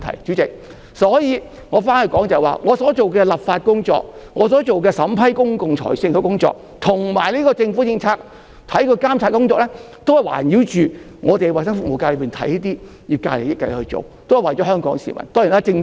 主席，所以，話說回來，我所做的立法工作、審批公共財政工作，以及監察政府政策工作，均是以環繞衞生服務界的利益來進行，都是為了香港市民。